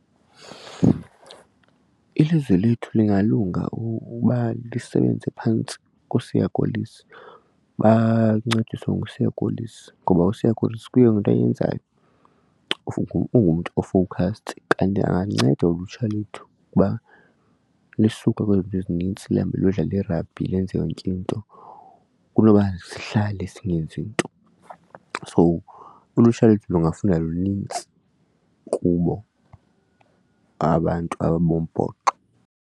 Iliziwe lethhu lingalunga uba lisebenze phantsi koSiya Kolisi bancediswe nguSiya Kolisi ngoba uSiya Kolisi kuyo yonke into ayenzayo ungumntu o-focused kanye ulutsha lwethu ukuba lusuke kwizinto ezininzi luhambe luyodlala irabhi lenze yonke into kunoba sihlale singenzii nto. So ulutsha lethu lungafunda lunintsi kubo abantu abombhoxo.